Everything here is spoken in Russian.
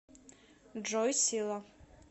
джой сила